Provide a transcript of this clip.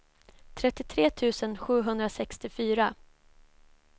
trettiotre tusen sjuhundrasextiofyra